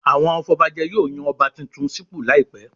Àwọn afọbajẹ yóò yan Ọba tuntun sípò láìpẹ̀